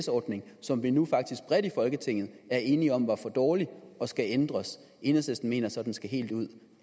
ordning som vi nu faktisk bredt i folketinget er enige om var for dårlig og skal ændres enhedslisten mener så den skal helt ud